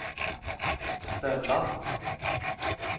ställa